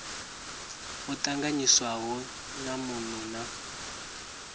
o tanganyiswaho na muno na